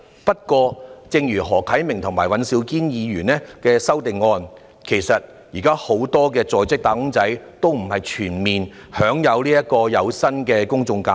不過，正如何啟明議員和尹兆堅議員的修正案所指出，現時並不是全部在職"打工仔"均享有有薪的公眾假期。